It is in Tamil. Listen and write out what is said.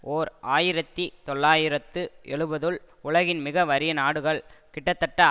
ஓர் ஆயிரத்தி தொள்ளாயிரத்து எழுபதுல் உலகின் மிக வறிய நாடுகள் கிட்டத்தட்ட